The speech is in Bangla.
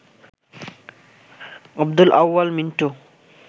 আব্দুল আউয়াল মিন্টু